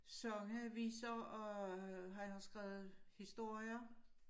Sange viser og han har skrevet historier